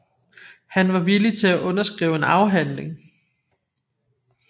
Han var villig til at underskrive en afhandling